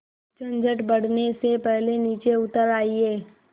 झंझट बढ़ने से पहले नीचे उतर आइए